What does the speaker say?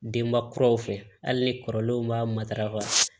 Denba kuraw fɛ hali ni kɔrɔlenw b'a matarafa